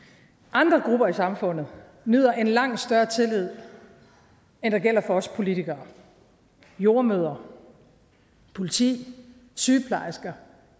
andre grupper i samfundet nyder en langt større tillid end der gælder for os politikere jordemødre politi sygeplejersker